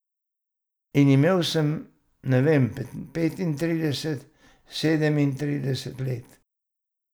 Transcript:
In imel sem, ne vem, petintrideset, sedemintrideset let ...